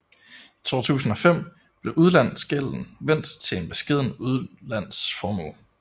I 2005 blev udlandsgælden vendt til en beskeden udlandsformue